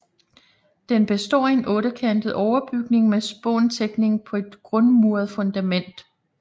Den består af en ottekantet overbygning med spåntækning på et grundmuret fundament